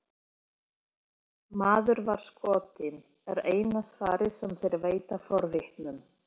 Maður var skotinn, er eina svarið sem þeir veita forvitnum.